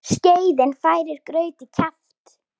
Skeiðin færir graut í kjaft.